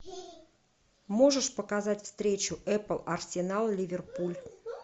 можешь показать встречу апл арсенал ливерпуль